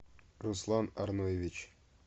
руслан арноевич